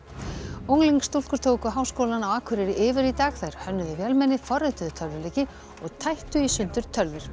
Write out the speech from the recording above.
unglingsstúlkur tóku Háskólann á Akureyri yfir í dag þær hönnuðu vélmenni forrituðu tölvuleiki og tættu í sundur tölvur